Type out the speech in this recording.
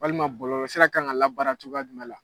Walima bɔlɔlɔsira kan ka labaara cogoya jumɛn la?